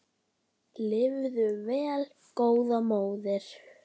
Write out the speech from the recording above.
Lifðu vel góða móðir.